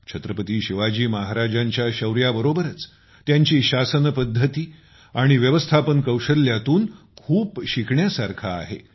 छत्रपती शिवाजी महाराजांच्या शौर्याबरोबरच त्यांची शासनपद्धती आणि व्यवस्थापन कौशल्यातून खूप काही शिकण्यासारखे आहे